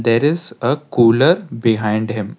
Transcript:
there is a cooler behind him.